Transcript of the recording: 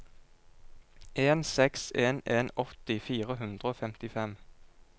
en seks en en åtti fire hundre og femtifem